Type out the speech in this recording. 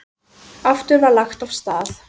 Aftur var lagt af stað.